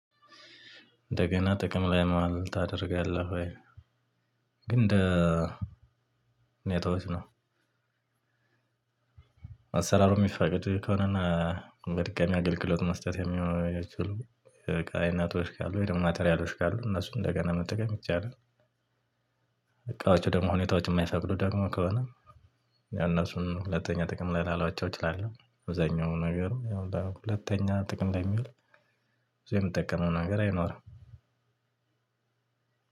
እንደገና ጥቅም ላይ ማዋል ታደርጋለህ ወይ? ግን እንደ ሁኔታዎች ነው። አሰራሩ የሚፈቅድ ከሆነ እና በድጋሚ አገልግሎት መስጠት የሚችሉ የእቃ አይነቶች ካሉ ወይ ደግሞ ማተሪያሎች ካሉ እነሱ እንደገና መጠቀም ይቻላል። እቃዎች ደግሞ ሁኔታዎች የማይፈቅዱ ደግሞ ከሆነ ያው እነሱን ሁለተኛ ጥቅም ላላውላቸው እችላለሁ። አብዛኛው ነገር ሁለተኛ ጥቅም ላይ የሚውል ብዙ የምጠቀመው ነገር አይኖርም።